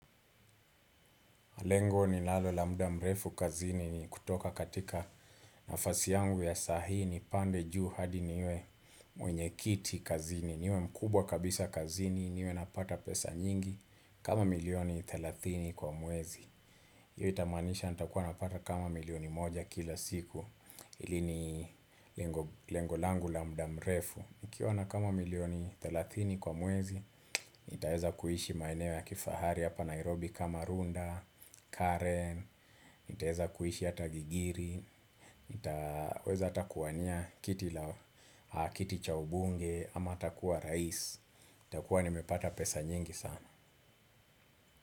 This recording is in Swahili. Lengo ninalo la muda mrefu kazini ni kutoka katika nafasi yangu ya sahi nipande juu hadi niwe mwenye kiti kazini niwe mkubwa kabisa kazini niwe napata pesa nyingi kama milioni thelathini kwa mwezi. Hiyo itamaanisha nitakuwa napata kama milioni moja kila siku ili ni lengolangu la muda mrefu. Nikiwa na kama milioni thelathini kwa mwezi, nitaeza kuhishi maeneo ya kifahari hapa Nairobi kama Runda, Karen, nitaeza kuhishi hata gigiri. Nitaweza hata kuwania kiti cha ubunge ama hata kuwa rais, takuwa nimepata pesa nyingi sana.